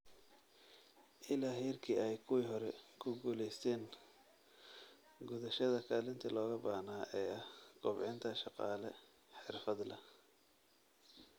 Ilaa heerkii ay kuwii hore ku guulaysteen gudashada kaalintii looga baahnaa ee ah kobcinta shaqaale xirfad leh.